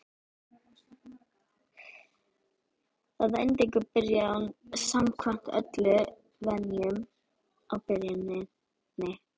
Að endingu byrjaði hún samkvæmt öllum venjum á byrjuninni.